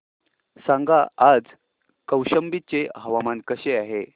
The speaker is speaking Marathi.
सांगा आज कौशंबी चे हवामान कसे आहे